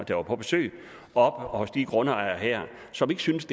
der var på besøg oppe hos de her grundejere som ikke synes